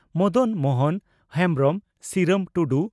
Madan Mohan Hembrom Siram Tudu